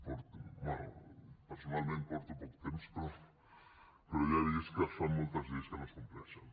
bé personalment porto poc temps però ja he vist que es fan moltes lleis que no es compleixen